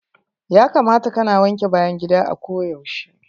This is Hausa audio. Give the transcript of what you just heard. Ya kamata ka na wanke bayan gida a ko yaushe.